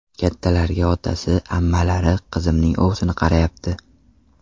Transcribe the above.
Kattalariga otasi, ammalari, qizimning ovsini qarayapti.